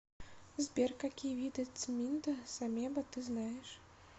сбер какие виды цминда самеба ты знаешь